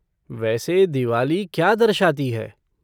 वैसे दिवाली क्या दर्शाती है?